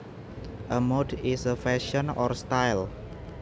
A mode is a fashion or style